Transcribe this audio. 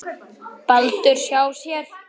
Baldurs hjá sér.